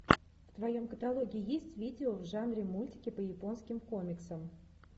в твоем каталоге есть видео в жанре мультики по японским комиксам